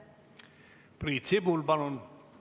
Priit Sibul, palun!